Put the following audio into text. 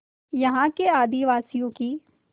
यहाँ के आदिवासियों की